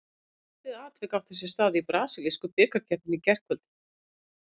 Skondið atvik átti sér stað í brasilísku bikarkeppninni í gærkvöldi.